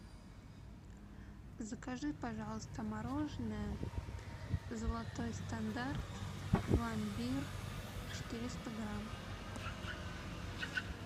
закажи пожалуйста мороженое золотой стандарт пломбир четыреста грамм